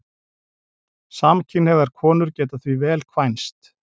Samkynhneigðar konur geta því vel kvænst.